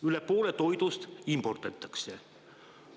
Üle poole toidust imporditakse.